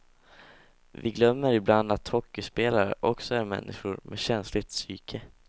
Vi glömmer ibland att hockeyspelare också är människor med känsligt psyke.